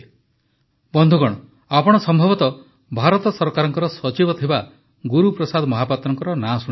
ବନ୍ଧୁଗଣ ଆପଣ ସମ୍ଭବତଃ ଭାରତ ସରକାରରେ ସଚିବ ଥିବା ଗୁରୁପ୍ରସାଦ ମହାପାତ୍ରଙ୍କ ନାମ ଶୁଣିଥିବେ